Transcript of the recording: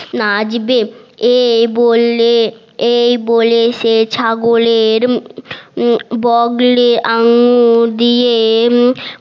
নাচবে এ বললে এই বলে সে ছাগলের বগলে আঙুল দিয়ে